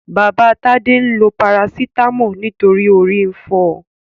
Baba Tade lo parasítámọ̀ nítorí orí ń fọ.